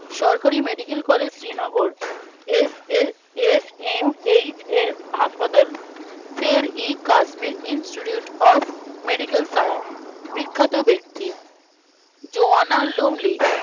সরকারি Medical College Srinagar এস এ S. M. H. S হাসপাতাল Sher i Kashmir Institute of Medical Science বিখ্যাত ব্যক্তি জোয়ানা লুমেলী